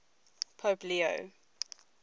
pope leo